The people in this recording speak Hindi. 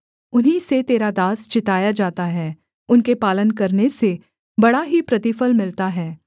उन्हीं से तेरा दास चिताया जाता है उनके पालन करने से बड़ा ही प्रतिफल मिलता है